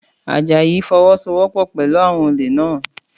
Àjàyí fọwọ́sowọ́pọ̀ pẹ̀lú àwọn olè naa